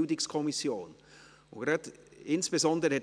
BiK. Sie haben sich insbesondere